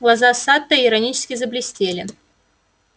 глаза сатта иронически заблестели